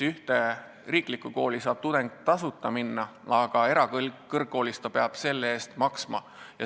Riiklikus koolis saab tudeng tasuta õppida, aga erakõrgkoolis ta peab selle eest maksma.